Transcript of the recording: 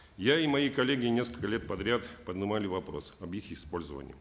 я и мои коллеги несколько лет подряд поднимали вопрос об их использовании